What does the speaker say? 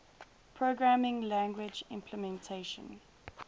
programming language implementation